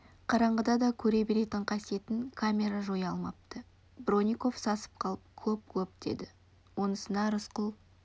қараңғыда да көре беретін қасиетін камера жоя алмапты бронников сасып қалып клоп клоп деді онысына рысқұл